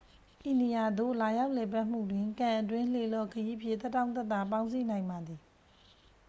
ဤနေရာသို့ လာရောက်လည်ပတ်မှုတွင် ကန်အတွင်း လှေလှော်ခရီးဖြင့် သက်တောင့်သက်သာ ပေါင်းစည်းနိုင်ပါသည်